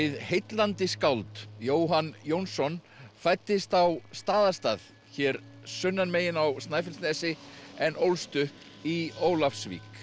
heillandi skáld Jóhann Jónsson fæddist á Staðastað hér sunnan megin á Snæfellsnesi en ólst upp í Ólafsvík